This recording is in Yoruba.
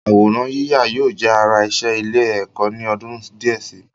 Àwòrán yíyà yóò jẹ́ ara iṣẹ́ ilé-ẹ̀kọ́ ni ọdún díẹ̀ si.